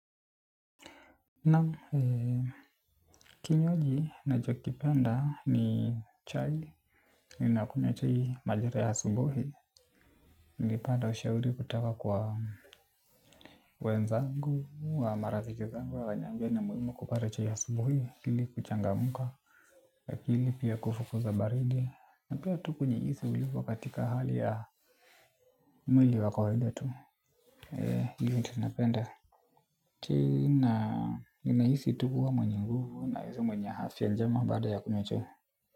Naam kinywaji ninachokipenda ni chai. Ninakunywa chai majira ya asubuhi. Nilipata ushauri kutoka kwa wenzangu na marafiki zangu wakaniambia ni muhimu kupata chai ya asubuhi ili kuchangamka akili pia kufukuza baridi na pia tu kujihisi ulivyo katika hali ya mwili wa kawaida tu hivyo ndio napenda chai na ninahisi tu kuwa mwenye nguvu nahisi mwenye afya njema baada ya kunywa chai.